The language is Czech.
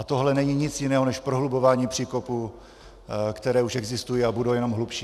A tohle není nic jiného než prohlubování příkopů, které už existují a budou jenom hlubší.